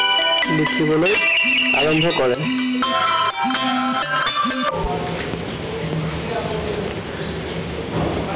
লিখিবলৈ আৰম্ভ কৰে।